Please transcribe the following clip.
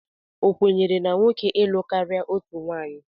Ọ kwenyere na nwoke ilụ karịa otu nwaanyị?